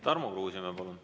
Tarmo Kruusimäe, palun!